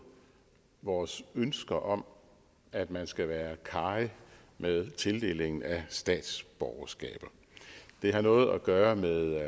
vores ønske om at man skal være karrig med tildelingen af statsborgerskaber det har noget at gøre med